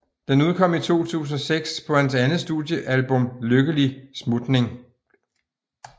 Den udkom i 2006 på hans andet studiealbum Lykkelig smutning